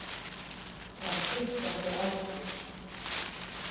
Að stytta sér aldur.